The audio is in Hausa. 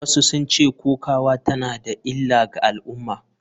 Wasu sun ce kokawa tana da illa ga al’umma.